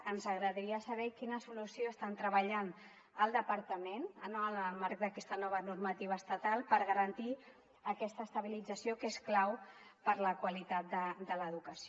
ens agradaria saber quina solució estan treballant al departament en el marc d’aquesta nova normativa estatal per garantir aquesta estabilització que és clau per a la qualitat de l’educació